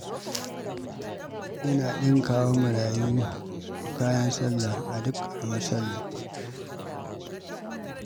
Yana ɗinka wa marayu kayan sallah a duk ƙaramar sallah.